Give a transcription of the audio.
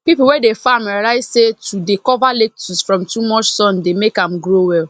people wey dey farm realize say to dey cover lettuce from too much sun dey make am grow well